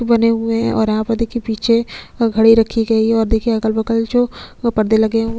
बने हुए है और यहाँ पर देखिए पीछे घड़ी रखी गई है और देखिए अगल-बगल दो पर्दे लगे हुए--